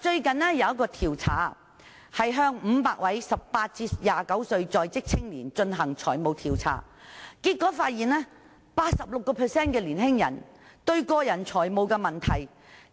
最近有一項研究向500位18歲至29歲在職青年進行財務調查，結果發現 86% 的年青人面對個人財務問題，